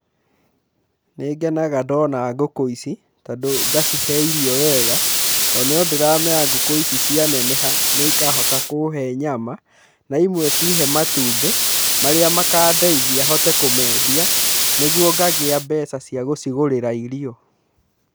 Nĩngenaga ndona ngũkũ ici, tondũ ngacihe irio wega, tondũ no ndĩramenya ngũkũ ici cianeneha nĩikahota kũhe nyama na imwe cihe matumbĩ marĩa makandeithia hote kũmendia, nĩguo ngagia mbeca cia gũcigurĩra irio.